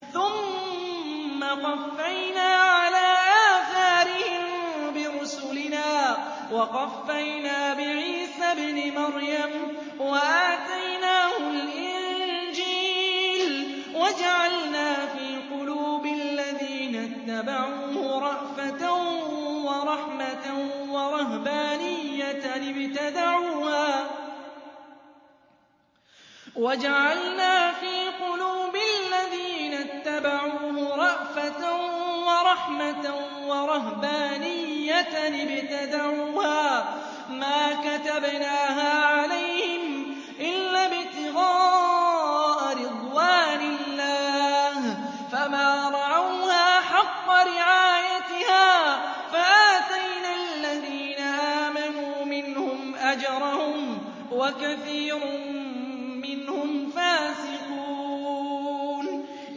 ثُمَّ قَفَّيْنَا عَلَىٰ آثَارِهِم بِرُسُلِنَا وَقَفَّيْنَا بِعِيسَى ابْنِ مَرْيَمَ وَآتَيْنَاهُ الْإِنجِيلَ وَجَعَلْنَا فِي قُلُوبِ الَّذِينَ اتَّبَعُوهُ رَأْفَةً وَرَحْمَةً وَرَهْبَانِيَّةً ابْتَدَعُوهَا مَا كَتَبْنَاهَا عَلَيْهِمْ إِلَّا ابْتِغَاءَ رِضْوَانِ اللَّهِ فَمَا رَعَوْهَا حَقَّ رِعَايَتِهَا ۖ فَآتَيْنَا الَّذِينَ آمَنُوا مِنْهُمْ أَجْرَهُمْ ۖ وَكَثِيرٌ مِّنْهُمْ فَاسِقُونَ